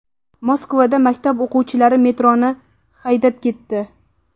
Moskvada maktab o‘quvchilari metroni haydab ketdi.